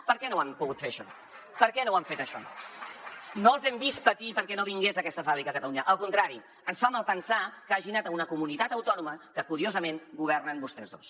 per què no ho han pogut fer això per què no ho han fet això no els hem vist patir perquè no vingués aquesta fàbrica a catalunya al contrari ens fa malpensar que hagi anat a una comunitat autònoma que curiosament governen vostès dos